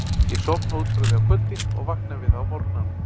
Ég sofna út frá því á kvöldin og vakna við það á morgnana.